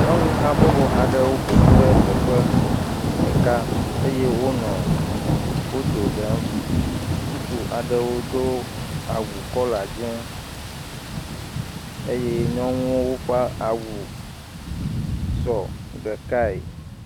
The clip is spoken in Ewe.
Nyɔnu habɔbɔ aɖewo ƒoƒu ɖe teƒe ɖeka eye wonɔ foto ɖem, ŋutsu aɖewo do awu kɔla dze eye nyɔnuwo ƒe awusɔ ɖekae.